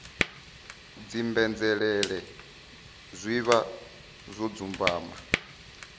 dzimbenzhelele zwi vha zwo dzumbama